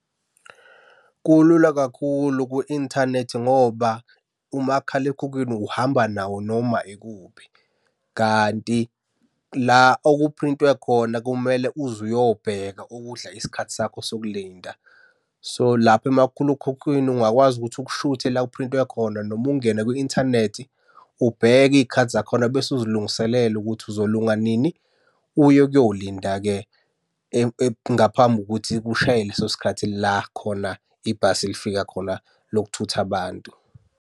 Kulula kakhulu ku-inthanethi ngoba umakhalekhukhwini uhamba nawo noma ikuphi, kanti la okuphrintwe khona kumele uze uyobheka okudla isikhathi sakho sokulinda. So, lapho umakhulekhukhwini ungakwazi ukuthi ukushuthe la okuphrintwe khona noma ungene kwi-inthanethi ubheke iy'khathi zakhona bese uzilungiselela ukuthi uzolunga nini, uye ukuyolinda-ke. Ngaphambi kokuthi kushaye leso sikhathi la khona ibhasi lifika khona lokuthutha abantu.